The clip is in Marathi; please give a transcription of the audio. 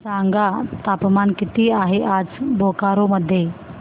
सांगा तापमान किती आहे आज बोकारो मध्ये